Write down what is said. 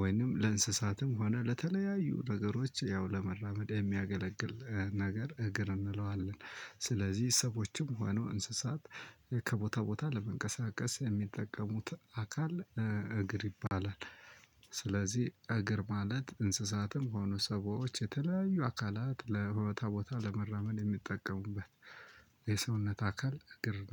ወይንም ለእንስሳትም ሆነ ለተለያዩ ነገሮች ያው ለመራመድ የሚያገለግል ነገር እግር እንለዋለን። ስለዚህ ሰዎችም ሆኑ እንስሳት ከቦታ ቦታ ለመንቀሳቀስ የሚጠቀሙት አካል እግር ይባላል። ስለዚህ እግር ማለት እንስሳትም ሆኑ ሰዎች የተለያዩ አካላት ለቦታቦታ ለመራመድ የሚጠቀሙበት የሰውነት አካል እግር